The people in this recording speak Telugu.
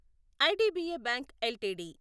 IDBI bank LTD